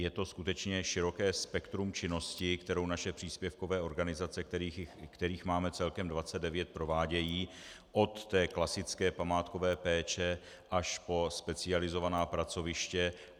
Je to skutečně široké spektrum činnosti, kterou naše příspěvkové organizace, kterých máme celkem 29, provádějí, od té klasické památkové péče až po specializovaná pracoviště.